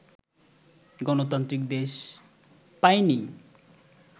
গণতান্ত্রিক দেশ পাইনি